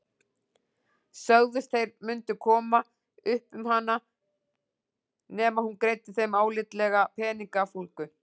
Sögðust þeir mundu koma upp um hana nema hún greiddi þeim álitlega peningafúlgu.